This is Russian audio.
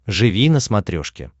живи на смотрешке